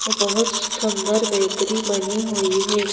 बहुत सुंदर बेकरी बनी हुई है।